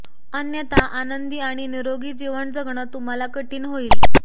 अन्यथा आनंदी आणि निरोगी जीवन जगणं तुम्हाला कठीण होईल